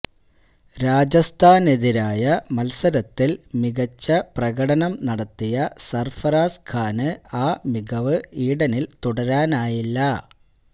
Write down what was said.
രാജസ്ഥാനെതിരായ മത്സരത്തില് മികച്ച പ്രകടനം നടത്തിയ സര്ഫറാസ് ഖാന് ആ മികവ് ഈഡനില് തുടരാനായില്ല